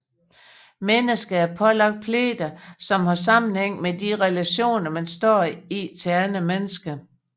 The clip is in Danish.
Mennesket er pålagt pligter som har sammenhæng med de relationer man står i til andre mennesker